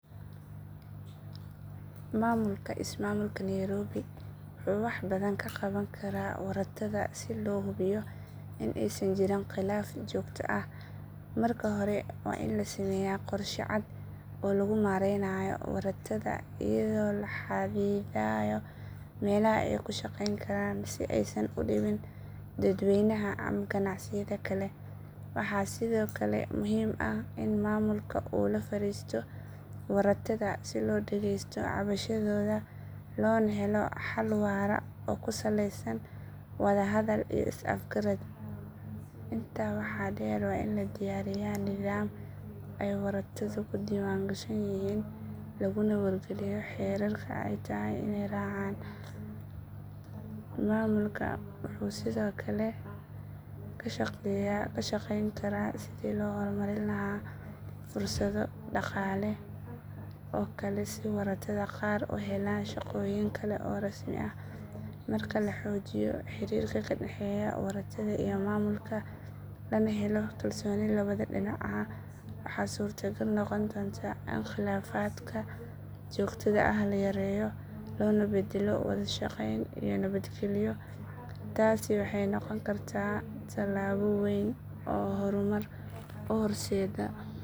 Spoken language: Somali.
Maamulka ismaamulka Nairobi wuxuu wax badan ka qaban karaa waratada si loo hubiyo in aysan jirin khilaf joogto ah. Marka hore, waa in la sameeyaa qorshe cad oo lagu maareynayo waratada iyadoo la xadidayo meelaha ay ku shaqeyn karaan si aysan u dhibin dadweynaha ama ganacsiyada kale. Waxaa sidoo kale muhiim ah in maamulka uu la fariisto waratada si loo dhageysto cabashadooda loona helo xal waara oo ku saleysan wada hadal iyo is afgarad. Intaa waxaa dheer, waa in la diyaariyaa nidaam ay waratadu ku diiwaangashan yihiin laguna wargeliyo xeerarka ay tahay inay raacaan. Maamulka wuxuu sidoo kale ka shaqayn karaa sidii loo horumarin lahaa fursado dhaqaale oo kale si waratada qaar u helaan shaqooyin kale oo rasmi ah. Marka la xoojiyo xiriirka ka dhexeeya waratada iyo maamulka, lana helo kalsooni labada dhinac ah, waxaa suurtagal noqon doonta in khilaafaadka joogtada ah la yareeyo loona beddelo wada shaqeyn iyo nabadgelyo. Taasi waxay noqon kartaa tallaabo weyn oo horumar u horseedda magaalada.